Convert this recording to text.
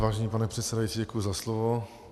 Vážený pane předsedající, děkuji za slovo.